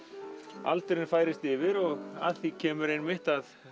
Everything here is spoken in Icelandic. aldurinn færist yfir og að því kemur að